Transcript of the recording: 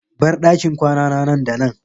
Bar dakin kwanana nan da nan!